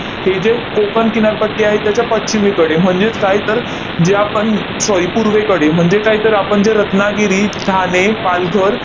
हे जे कोकण किनारपट्टी आहे त्याच्या पश्चिमेकडे, म्हणजेच काय? तर, जे आपण sorry पूर्वेकडे, म्हणजे काय? तर आपण जे रत्नागिरी, ठाणे, पालघर